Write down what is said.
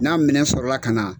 N'a minɛ sɔrɔla ka na.